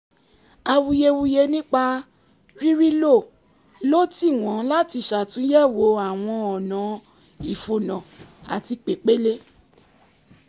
awuyewuye nípa ríríilò ló tì wọ́n láti ṣàtúnyẹ̀wò àwọn ọ̀nà ìfònà àti pèpele